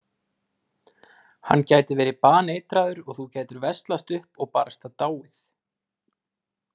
Hann gæti verið baneitraður og þú gætir veslast upp og barasta dáið